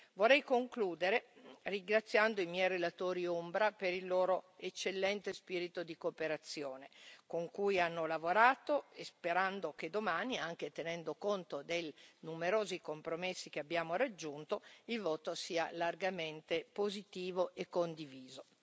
Vorrei concludere ringraziando i miei relatori ombra per il loro eccellente spirito di cooperazione con cui hanno lavorato e sperando che domani, anche tenendo conto dei numerosi compromessi che abbiamo raggiunto, il voto sia largamente positivo e condiviso.